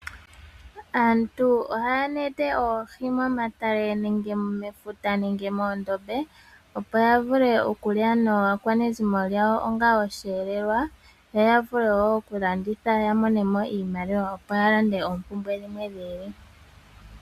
Aantu oha ya nete oohi momatale, nenge mefuta, nenge moondobe opo yavule okulya naakwenezimo yawo onga osheelewa, yo yavule woo kulanditha yamonemo iimaliwa opo yalande oompumbwe dhimwe dhiili.